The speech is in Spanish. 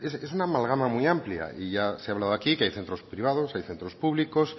es una amalgama muy amplia y ya se ha hablado aquí que hay centros privados hay centros públicos